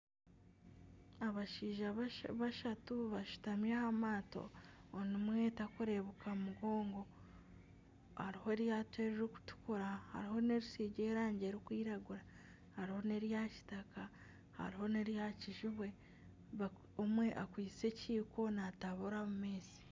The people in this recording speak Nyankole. Abashaija bashatu bashutami aha maato omwe takureebuka mugongo hariho eryato eririkutukura hariho n'eritsigire erangi erikwiragura hariho nerya kitaka hariho nerya kijubwe omwe akwaitse ekiiko natabura omu maizi.